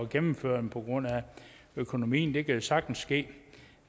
gennemføre på grund af økonomien det kan jo sagtens ske